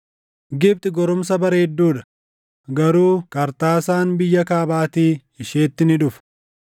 “Gibxi goromsa bareedduu dha; garuu qarxaasaan biyya kaabaatii isheetti ni dhufa.